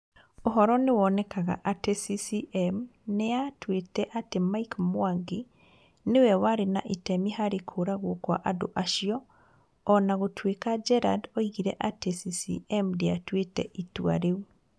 Ũhoro nĩ wonekaga atĩ CCM nĩ yatuĩte atĩ Mike Mwangi nĩ we warĩ na itemi harĩ kũũragwo kwa andũ acio, o na gũtuĩka Gerald oigire atĩ CCM ndĩatuĩte itua rĩu.